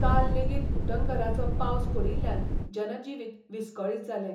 काल लेगीत उटंगरांचो पावस पडिल्ल्यान जनजिवीत विस्कळीत जालें.